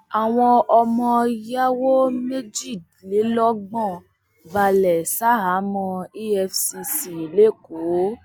àwọn ọmọ yàwó méjìlélọgbọn balẹ sàháàmọ efcc lẹkọọ